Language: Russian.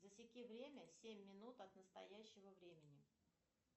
засеки время семь минут от настоящего времени